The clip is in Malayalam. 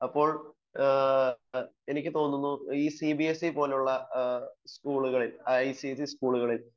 അപ്പോൾ എനിക്ക് തോന്നുന്നു ഈ സി ബി എസ് ഇ പോലുള്ളസ്കൂളുകളിൽ ഐ സി എ സി സ്കൂളുകളിൽ